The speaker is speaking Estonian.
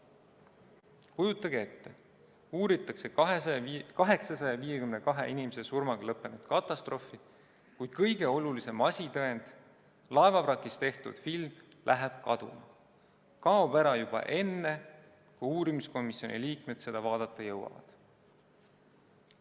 Kujutage ette: uuritakse 852 inimese surmaga lõppenud katastroofi, kuid kõige olulisem asitõend, laevavrakis tehtud film, läheb kaduma, kaob ära juba enne, kui uurimiskomisjoni liikmed seda vaadata jõuavad!